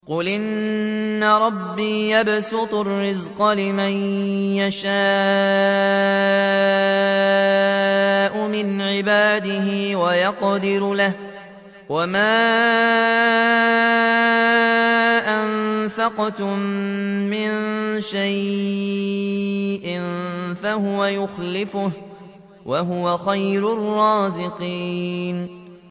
قُلْ إِنَّ رَبِّي يَبْسُطُ الرِّزْقَ لِمَن يَشَاءُ مِنْ عِبَادِهِ وَيَقْدِرُ لَهُ ۚ وَمَا أَنفَقْتُم مِّن شَيْءٍ فَهُوَ يُخْلِفُهُ ۖ وَهُوَ خَيْرُ الرَّازِقِينَ